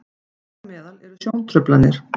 þar á meðal eru sjóntruflanir